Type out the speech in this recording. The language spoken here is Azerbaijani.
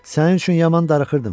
Sənin üçün yaman darıxırdım.